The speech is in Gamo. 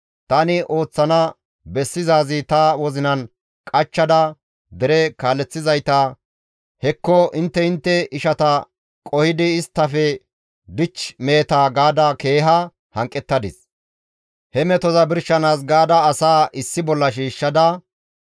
Tani ooththana bessizaaz ta wozinan qachchada dere kaaleththizayta, «Hekko intte intte ishata qohidi isttafe dich meeta» gaada keeha hanqettadis; he metoza birshanaas gaada asaa issi bolla shiishshada,